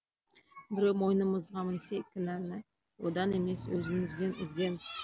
біреу мойнымызға мінсе кінәні одан емес өзіңізден іздеңіз